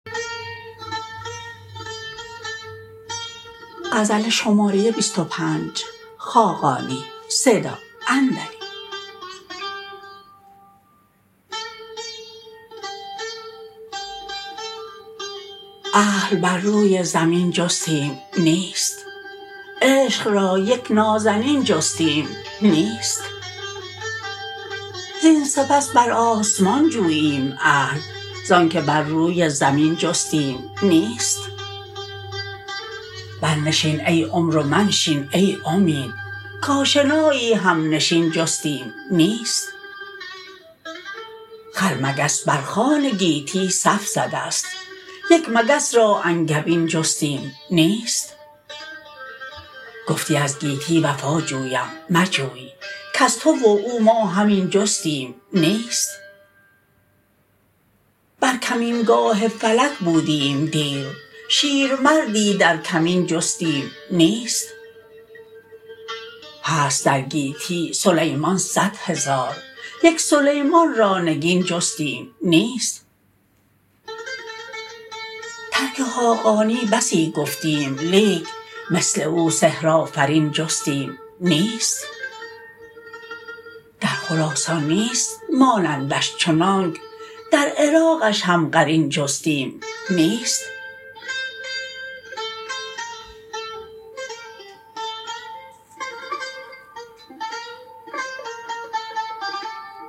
اهل بر روی زمین جستیم نیست عشق را یک نازنین جستیم نیست زین سپس بر آسمان جوییم اهل زان که بر روی زمین جستیم نیست برنشین ای عمر و منشین ای امید کاشنایی همنشین جستیم نیست خرمگس بر خوان گیتی صف زده است یک مگس را انگبین جستیم نیست گفتی از گیتی وفا جویم مجوی کز تو و او ما همین جستیم نیست بر کمینگاه فلک بودیم دیر شیرمردی در کمین جستیم نیست هست در گیتی سلیمان صدهزار یک سلیمان را نگین جستیم نیست ترک خاقانی بسی گفتیم لیک مثل او سحرآفرین جستیم نیست در خراسان نیست مانندش چنانک در عراقش هم قرین جستیم نیست